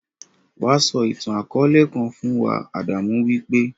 Wá sọ ìtàn-akọọlẹ kan fún wa; Adamu wí pé.